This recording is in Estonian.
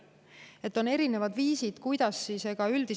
On erinevad viisid,.